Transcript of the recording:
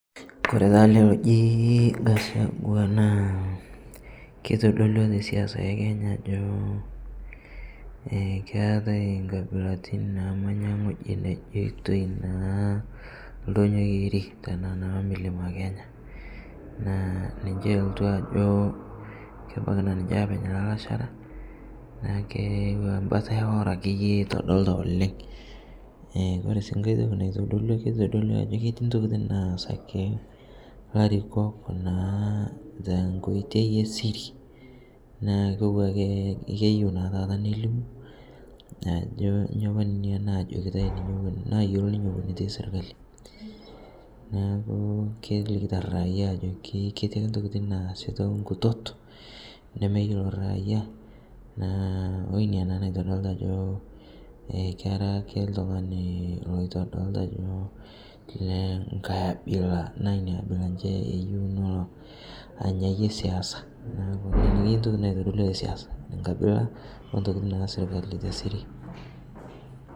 Kore taa alee lojii Gachagua naa keitodolua te siasa ekenya ajoo keatai nkabilatin naamanya ng'hojii nejeitoi naa ldonyoo kerii taa naa mlima Kenya, naa ninshe elotuu ajoo kebakii naa ninshe apeny lalasharaa naaku kotuwa akeye mbata eworoo ake eitodolitaa oleng' kore sii ng'hai tokii naitodolua keitodolua ajo ketii ntokitin naas akee larikok naa tenkoitei e siri naaku kotuwaa akee keyeu naa taata nelimuu ajo nyo apaa nenia najokitai ninye nayeloo ninye ewon apaa etii sirkalii naaku kelikitaa raia ajokii ketii akee ntokitin naasi teng'utot nemeyeloo raiyaa naa oinia naitodiltaa naa ajoo kera akee ltung'ani loitodolitaa ajoo leng'hai abila naa inia abila enshe eyeu nolo anyayie siasa naaku nenia akeye ntokitin naitodolua te siasa, nkabila ontokitin naasita sirkalii te siri.